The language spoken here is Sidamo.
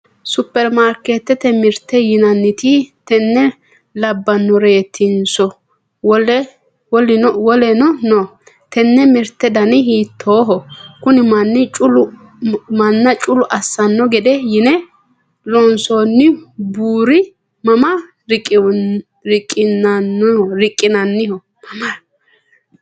superimaarkeetete mirte yinanniti tenne labbannoreetinso woleno no? tenne mirte dani hiittooho? kuni manna culu assanno gede yine loonsoonni buuri mama riqqinanniho?